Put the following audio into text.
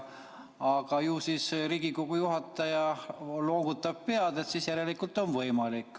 Aga Riigikogu juhataja noogutab pead, ju siis järelikult on võimalik.